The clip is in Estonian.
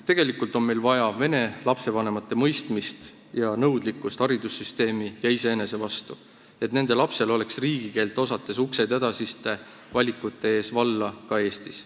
Tegelikult on meil vaja vene lastevanemate mõistmist ja nõudlikkust haridussüsteemi ja iseenese vastu, et nende lastel oleks riigikeelt osates edasisi valikuid tehes uksed valla ka Eestis.